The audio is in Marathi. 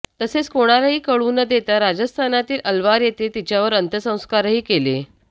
तसेच कोणालाही कळू न देता राजस्थानातील अलवार येथे तिच्यावर अंत्यसंस्कारही केले